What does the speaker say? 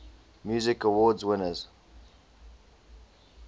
music awards winners